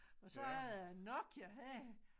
Og så er der en Nokia her